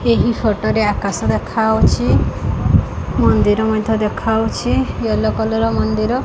ଏହି ଫଟୋ ରେ ଆକାଶ ଦେଖା ହେଉଛି ମନ୍ଦିର ମଧ୍ୟ ଦେଖା ହେଉଛି ୟେଲୋ କଲର ମନ୍ଦିର।